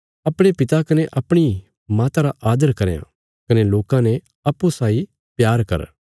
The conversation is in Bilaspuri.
अपणे पिता कने अपणी माता रा आदर करयां कने लोकां ने अप्पूँ साई प्यार कर